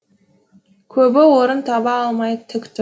көбі орын таба алмай тік тұр